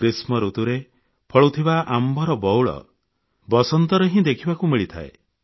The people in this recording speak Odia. ଗ୍ରୀଷ୍ମଋତୁରେ ଫଳୁଥିବା ଆମ୍ବର ବଉଳ ବସନ୍ତରେ ହିଁ ଦେଖିବାକୁ ମିଳିଥାଏ